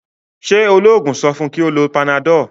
ṣe oloogun so fun kí o ló Panadol?